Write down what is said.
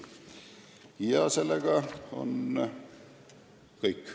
Sellega on minu poolt kõik.